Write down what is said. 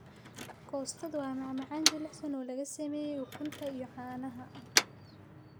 Custard waa macmacaan jilicsan oo laga sameeyay ukunta iyo caanaha.